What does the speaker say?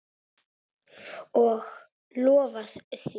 Og lofaði því.